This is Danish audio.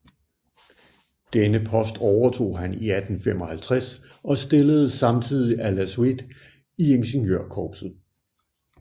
Denne post overtog han i 1855 og stilledes samtidig à la suite i Ingeniørkorpset